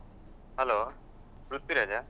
Hello ಪೃಥ್ವಿರಾಜಾ?